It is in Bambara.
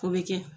O bɛ kɛ